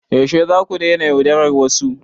Yaushe zaku daina yaudarar wasu?